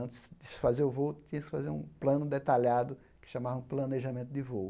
Antes de se fazer o voo, tinha que se fazer um plano detalhado, que chamavam planejamento de voo.